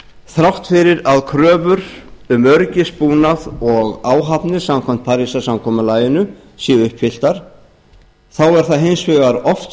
þrátt fyrir að kröfur um öryggisbúnað og áhafnir samkvæmt parísarsamkomulaginu séu uppfylltar þá er það hins vegar oft